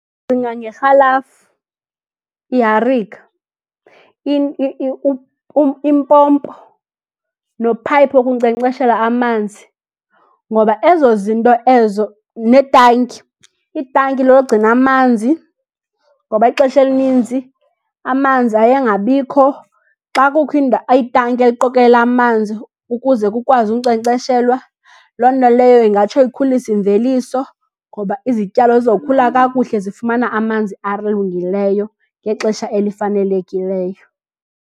Ndicinga ngerhalafu, iharika, impompo nophayipi wokunkcenkceshela amanzi. Ngoba ezo zinto ezo, netanki, itanki logcina amanzi, ngoba ixesha elininzi amanzi aye angabikho. Xa kukho itanki eliqokelela amanzi ukuze kukwazi unkcenkceshelwa, loo nto leyo ingatsho ikhulise imveliso. Ngoba izityalo zizokhula kakuhle zifumana amanzi alungileyo ngexesha elifanelekileyo.